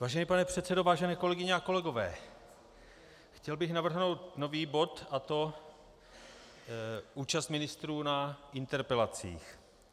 Vážený pane předsedo, vážené kolegyně a kolegové, chtěl bych navrhnout nový bod, a to účast ministrů na interpelacích.